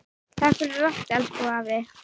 Takk fyrir allt, elsku afi.